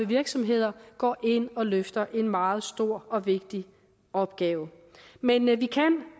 virksomheder går ind og løfter en meget stor og vigtig opgave